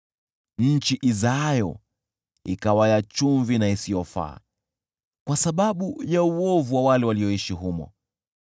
nchi izaayo ikawa ya chumvi isiyofaa, kwa sababu ya uovu wa wale walioishi humo.